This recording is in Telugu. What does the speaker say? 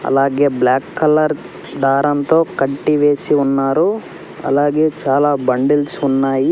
అలాగే బ్లాక్ కలర్ దారంతో కంటి వేసి వున్నారు అలాగే చాలా బండిల్స్ ఉన్నాయి.